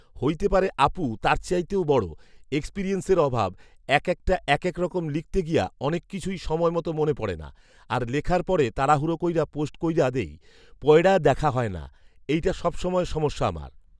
হৈতে পারে আপু, তার চাইতেও বড়, এক্সপিরিয়েন্সের অভাব, একেকটা একেকরকম লিখতে গিয়া অনেক কিছুই সময় মতো মনে পড়ে না, আর লেখার পরে তাড়াহুড়া কৈরা পোস্ট কৈরা দেই, পৈড়া দেখা হয়না, এইটা সবসময়ের সমস্যা আমার